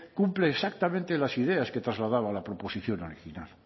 cumple exactamente las ideas que trasladaba la proposición original